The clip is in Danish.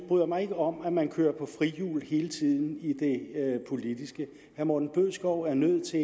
bryder mig ikke om at man kører på frihjul hele tiden i det politiske herre morten bødskov er nødt til